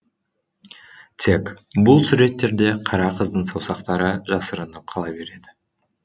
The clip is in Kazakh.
тек бұл суреттерде қара қыздың саусақтары жасырынып қала береді